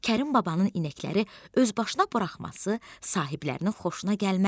Kərim babanın inəkləri öz başına buraxması sahiblərinə xoşuna gəlməzdi.